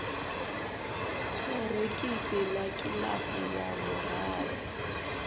ṱorokisi ḽa kiḽasi ya vhuraru